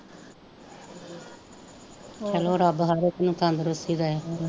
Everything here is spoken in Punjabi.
ਚੱਲੋ ਰੱਬ ਹਰੇਕ ਨੂੰ ਤੰਦਰੁਸਤੀ ਦੇਵੇ